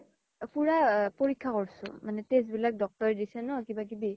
পুৰা পৰিশা কৰছো মানে test বিলাক doctor ৰে দিছি ন কিবা কিবি